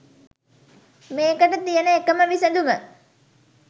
මේකට තියෙන එකම විසදුම